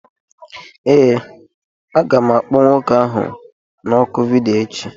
Ee, aga m akpọ nwoke ahụ na oku vidiyo echi